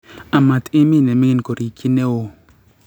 Amat imin ne mingin koriikyi newuo